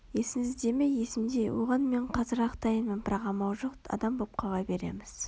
есіңізде ме есімде оған мен қазір-ақ дайынмын бірақ амал жоқ адам боп қала береміз